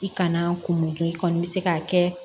I kana kun mun kɛ i kɔni bɛ se k'a kɛ